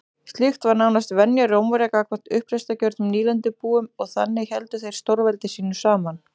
Slíkt var nánast venja Rómverja gagnvart uppreisnargjörnum nýlendubúum og þannig héldu þeir stórveldi sínu saman.